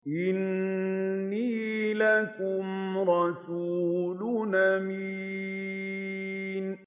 إِنِّي لَكُمْ رَسُولٌ أَمِينٌ